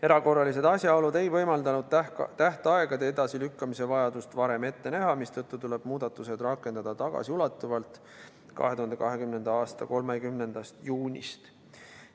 Erakorralised asjaolud ei võimaldanud tähtaegade edasilükkamise vajadust varem ette näha, mistõttu tuleb muudatused rakendada tagasiulatuvalt 2020. aasta 30. juunist.